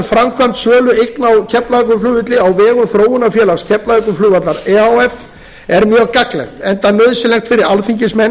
framgang sölu eigna á keflavíkurflugvelli á vegum þróunarfélags keflavíkurflugvallar e h f er mjög gagnlegt enda nauðsynlegt fyrir alþingismenn